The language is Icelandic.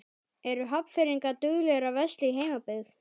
Eru Hafnfirðingar duglegir að versla í heimabyggð?